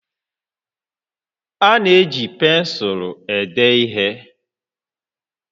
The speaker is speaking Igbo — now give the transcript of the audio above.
A na-eji pensụlụ ede ihe